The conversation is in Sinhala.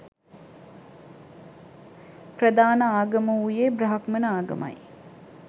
ප්‍රධාන ආගම වූයේ බ්‍රාහ්මණ ආගමයි.